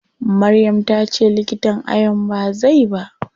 Maryam tace likitan ayon bai zai ba.